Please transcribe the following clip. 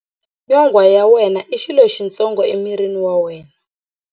Nyonghwa ya wena i xirho xitsongo emirini wa wena.